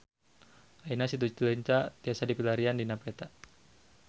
Ayeuna Situ Cileunca tiasa dipilarian dina peta